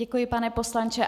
Děkuji, pane poslanče.